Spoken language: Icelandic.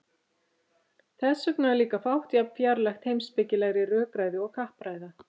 þess vegna er líka fátt jafn fjarlægt heimspekilegri rökræðu og kappræða